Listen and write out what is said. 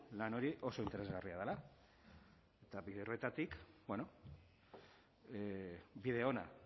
lan hori oso interesgarria dela eta bide horretatik bide ona